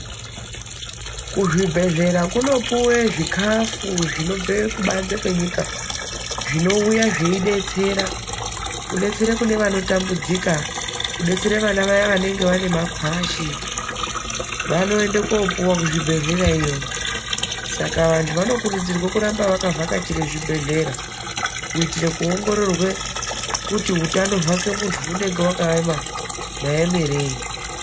Kuzvibhedhlera kunopiwa zvikafu zvinobva kubanze kwenyika zvinouya zveidetsera ,kudetsera kune vanotambudzika kudetsera vana vaye vanenge vanema kwashi .Vanoenda kopuwa kuzvibhedhlera .Saka vantu vanokurudzirwe kuramba vachienda kuzvibhedhlera vachionekwa kuti hutano hwavo hwakaita maemerei.